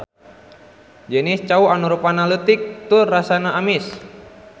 Jenis cau anu rupana leutik tur rasana amis.